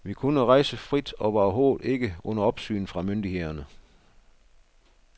Vi kunne rejse frit og var overhovedet ikke under opsyn fra myndighederne.